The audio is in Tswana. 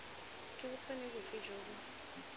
ke bokgoni bofe jo bo